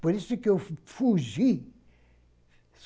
Por isso que eu fugi.